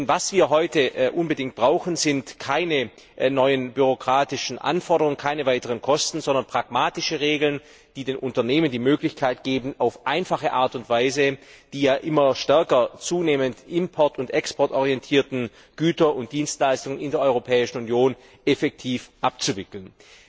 Denn was wir heute unbedingt brauchen, sind keine neuen bürokratischen Anforderungen, keine weiteren Kosten, sondern pragmatische Regeln, die den Unternehmen die Möglichkeit geben, auf einfache Art und Weise die ja immer stärker import und exportorientierten Güter und Dienstleistungen in der Europäischen Union effektiv abzuwickeln.